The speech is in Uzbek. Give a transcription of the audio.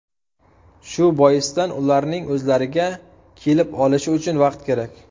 Shu boisdan ularning o‘zlariga kelib olishi uchun vaqt kerak.